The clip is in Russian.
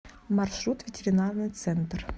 маршрут ветеринарный центр